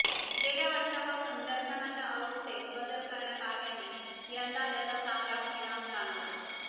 गेल्या वर्षापासून दर्शनाच्या व्यवस्थेत बदल करण्यात आल्याने यंदा त्याचा चांगला परिणाम जाणवला